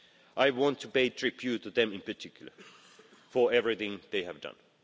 I want to pay tribute to them in particular, for everything they have done.